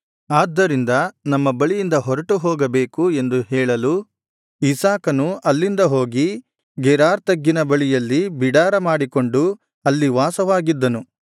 ಆದ್ದರಿಂದ ನಮ್ಮ ಬಳಿಯಿಂದ ಹೊರಟುಹೋಗಬೇಕು ಎಂದು ಹೇಳಲು ಇಸಾಕನು ಅಲ್ಲಿಂದ ಹೋಗಿ ಗೆರಾರ್ ತಗ್ಗಿನ ಬಯಲಿನಲ್ಲಿ ಬಿಡಾರ ಮಾಡಿಕೊಂಡು ಅಲ್ಲಿ ವಾಸವಾಗಿದ್ದನು